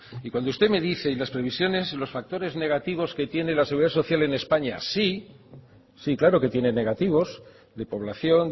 y cuando usted me dice y las previsiones los factores negativos que tiene la seguridad social en españa sí claro que tiene negativos de población